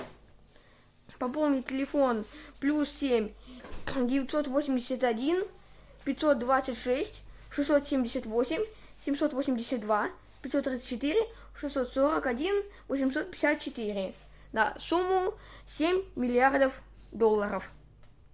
пополнить телефон плюс семь девятьсот восемьдесят один пятьсот двадцать шесть шестьсот семьдесят восемь семьсот восемьдесят два пятьсот тридцать четыре шестьсот сорок один восемьсот пятьдесят четыре на сумму семь миллиардов долларов